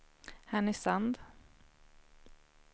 Härnösand